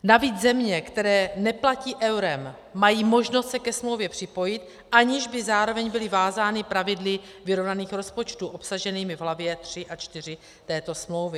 Navíc země, které neplatí eurem, mají možnost se ke smlouvě připojit, aniž by zároveň byly vázány pravidly vyrovnaných rozpočtů obsaženými v hlavě III a IV této smlouvy.